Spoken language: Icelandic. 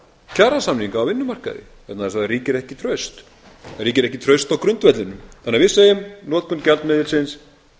kjarasamninga á vinnumarkaði vegna þess að það ríkir ekki traust það ríkir ekki traust á grundvellinum þannig að við segjum notkun gjaldmiðilsins